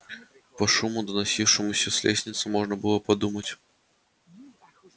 по шуму доносившемуся с лестницы можно было подумать